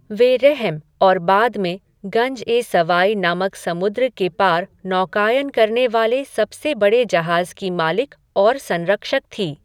वे रहम और बाद में गंज ए सवाई नामक समुद्र के पार नौकायन करने वाले सबसे बड़े जहाज़ की मालिक और संरक्षक थी।